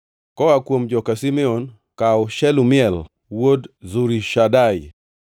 koa kuom joka Simeon, kaw Shelumiel wuod Zurishadai;